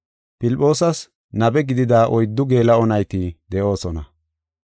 Filphoosas nabe gidida oyddu geela7o nayti de7oosona.